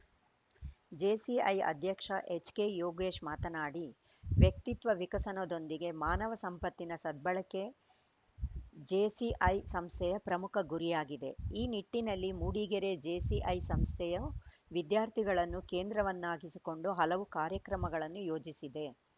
JCI ಅಧ್ಯಕ್ಷ H K Yogesh ಮಾತನಾಡಿ ವ್ಯಕ್ತಿತ್ವ ವಿಕಸನದೊಂದಿಗೆ ಮಾನವ ಸಂಪತ್ತಿನ ಸದ್ಬಳಕೆ ಜೇಸಿಐ ಸಂಸ್ಥೆಯ ಪ್ರಮುಖ ಗುರಿಯಾಗಿದೆ ಆ ನಿಟ್ಟಿನಲ್ಲಿ ಮೂಡಿಗೆರೆ ಜೆಸಿಐ ಸಂಸ್ಥೆಯ ವಿದ್ಯಾರ್ಥಿಗಳನ್ನು ಕೇಂದ್ರವನ್ನಾಗಿಸಿಕೊಂಡು ಹಲವು ಕಾರ್ಯಕ್ರಮಗಳನ್ನು ಯೋಜಿಸಿದೆ